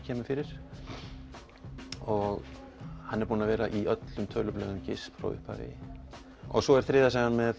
kemur fyrir og hann er búinn að vera í öllum tölublöðum frá upphafi svo er þriðja sagan með